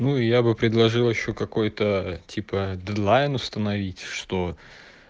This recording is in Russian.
ну я бы предложил ещё какой-то типа дедлайн установить что